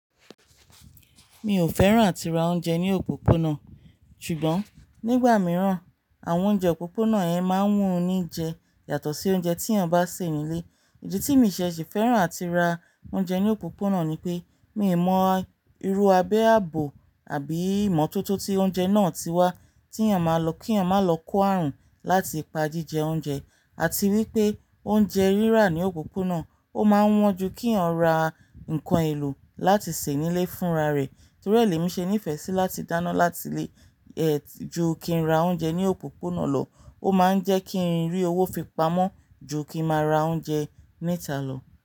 Mi ò fẹ́ràn àti ra oúnjẹ ní òpópónà, ṣùgbọ́n nígbà mìíràn àwọn oúnjẹ òpópónà yẹn máa ń wùn ní jẹ yàtọ̀ sí oúnjẹ tí èèyàn bá sè nílé. Ìdí tí mi ṣe ṣe fẹ́ràn àti ra oúnjẹ ní òpópónà ni pé, mi ò mọ irú abẹ ààbò àbí ìmọ́tótó tí oúnjẹ náà tí wá tí èèyàn máa lọ, kí èèyàn má lọ kó ààrùn láti ìpa jíjẹ oúnjẹ àti wípé oúnjẹ rírà ní òpópónà ó máa wọ́n ju kí èèyàn ra nnkan èlò láti sè nílé fúnra rẹ̀. Torí ẹ lemíì ṣe ní ìfẹ́ sí láti dáná láti lé, ẹti ju kí n ra oúnjẹ ní òpópónà lọ. Ó máa ń jẹ́ kí n rí owó fi pamọ́ ju kí n máa ra oúnjẹ níta lọ.